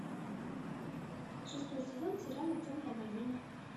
шестой сезон сериала темная богиня